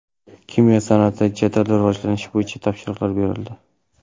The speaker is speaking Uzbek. Kimyo sanoatini jadal rivojlantirish bo‘yicha topshiriqlar berildi.